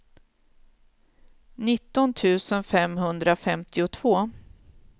nitton tusen femhundrafemtiotvå